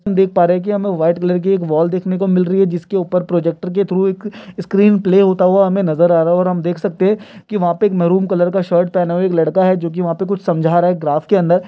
हम देख पा रहे है की हमे व्हाइट कलर की एक वॉल देखने को मिल रही है जिसके ऊपर प्रोजेकटेर के थ्रू एक स्क्रीन प्ले होता हुआ हमे नजर आ रहा है और हम देख सकते है की वहां पे मारून कलर का एक शर्ट पहना हुआ एक लड़का है जो की वहां कुछ समझा रहा है ग्राफ के अंदर--